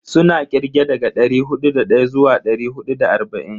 Suna kirge daga dari hudu da daya zuwa dari hudu da arba'in.